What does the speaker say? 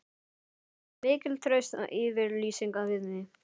Þetta var mikil trausts yfirlýsing við mig.